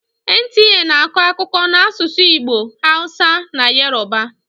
NTA na-akọ akụkọ n'asụsụ Igbo, hausa na yoruba.